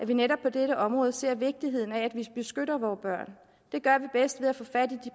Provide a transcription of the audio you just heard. vi netop på dette område ser vigtigheden af at vi beskytter vore børn det gør vi bedst ved at få fat i